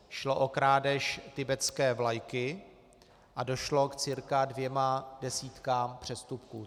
Šlo o krádež tibetské vlajky a došlo k cirka dvěma desítkám přestupků.